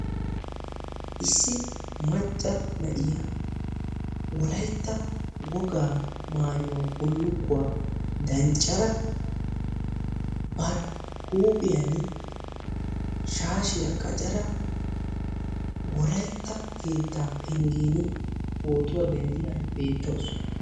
Issi macca na'iyaa wolaytta wogaa maayuwa bullukkuwa danccada bari huuphiyaan shaashiya qaccada wolaytta keettaa penggen pootuwa denddiyaara beettawusu.